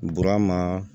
Burama